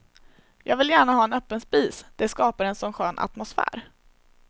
Jag vill gärna ha en öppen spis, det skapar en sådan skön atmosfär.